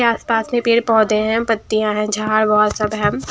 आसपास में पेड़ पौधे हैं पत्तियां हैं झाड़ हुआ सब है।